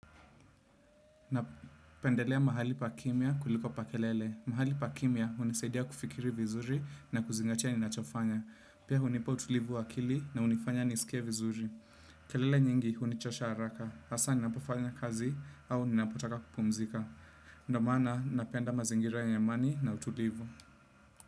Napendelea mahali pa kimya kuliko pa kelele. Mahali pa kimya hunisaidia kufikiri vizuri na kuzingatia ninachofanya. Pia hunipa utulivu wa akili na hunifanya nisikie vizuri. Kelele nyingi hunichosha haraka. Hasa ninapofanya kazi au ninapotaka kupumzika. Ndio maana, napenda mazingira ya amani na utulivu.